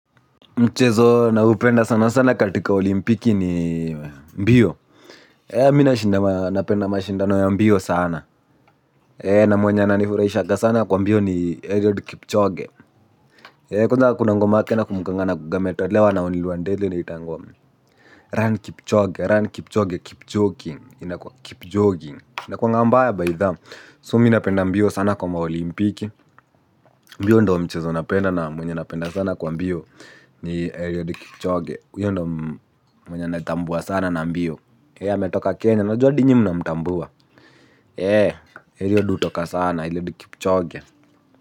Mchezo naupenda sana sana katika olimpiki ni mbio. Mimi nashinda napenda mashindano ya mbio sana. Na mwenye ananifurahishanga sana kwa mbio ni Eliud Kipchoge kwanza kuna ngoma yake nakumbukanga anakuanga ametolewa na on Lwandele inaitangwa run Kipchoge run Kipchoge Keep joking keep jogging inakuanga mbaya bytha so mi napenda sana mbio kwa maolimpiki. Mbio ndio mchezo napenda na mwenye napenda sana kwa mbio. Ni Eliud Kipchoge huyo ndo mwenye natambua sana na mbio ametoka kenya najua hadi nyinyi mnamtambua Eliud hutoka sana Eliud Kipchoge.